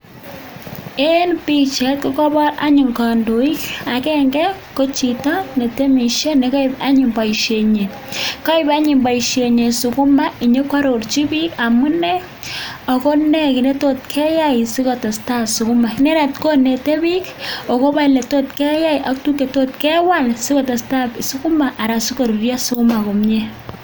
En bichait anyun kokabar kandoik ak koagenge ko Chito netemishe nekaib anyun baishenyin kaib anyun baishenyin sukuma konyo kwatochin bik amune akone kit netot keyai sikotesetai sukuma inendet konete bik akoba oletot keyai ak tuguk chetot kewal sikotesetai sukuma asikorurio sukuma komie